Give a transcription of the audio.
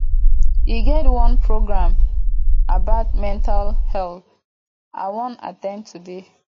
e get one program about mental health i wan at ten d today